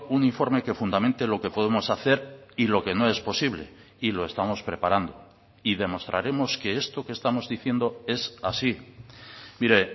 un informe que fundamente lo que podemos hacer y lo que no es posible y lo estamos preparando y demostraremos que esto que estamos diciendo es así mire